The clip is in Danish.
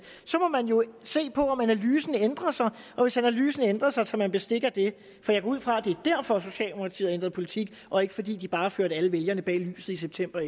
så må man jo se på om analysen ændrer sig og hvis analysen ændrer sig tager man bestik af det for jeg går ud fra at det er derfor socialdemokratiet har ændret politik og ikke fordi de bare har ført alle vælgerne bag lyset i september